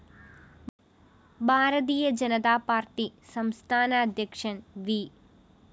ഭാരതീയ ജനതാപാര്‍ട്ടി സംസ്ഥാനാധ്യക്ഷന്‍ വി